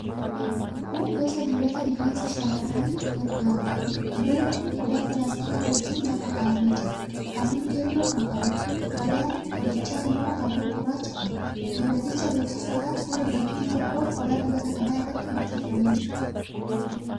Kun gosa dibataa rifeensa shamarraniif gargaaruudha. Dibatni kun qodaa pilaastikii wajjin lafa kaa'amee jira. Halluu keelloo kan qabuudha. Qadaadni qodichaa immoo halluu gurraacha qaba. Dibaticha beeksisuudhaaf suuraa dubartii tokkoo qodaa dibataa kana irratti maxxanfamee jira.